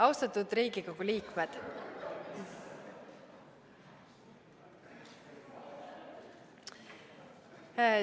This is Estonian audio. Austatud Riigikogu liikmed!